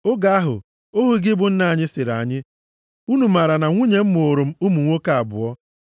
“Oge ahụ, ohu gị bụ nna anyị sịrị anyị, ‘Unu maara na nwunye m mụụrụ m ụmụ nwoke abụọ.